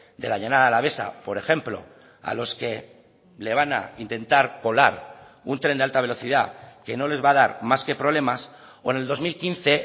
de la llanada alavesa por ejemplo a los que le van a intentar colar un tren de alta velocidad que no les va a dar más que problemas o en el dos mil quince